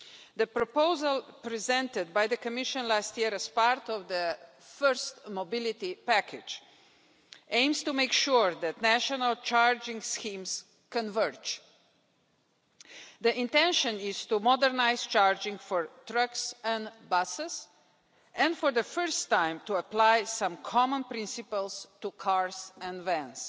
The proposal presented by the Commission last year as part of the first mobility package aims to make sure that national charging schemes converge. The intention is to modernise charging for trucks and buses and, for the first time, to apply some common principles to cars and vans.